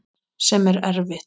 Sem er erfitt.